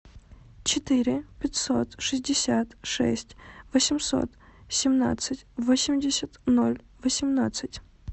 четыре пятьсот шестьдесят шесть восемьсот семнадцать восемьдесят ноль восемнадцать